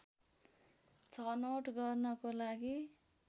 छनौट गर्नको लागि